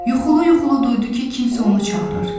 Yuxulu-yuxulu duydu ki, kimsə onu çağırır.